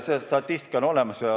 See statistika on olemas.